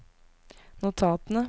notatene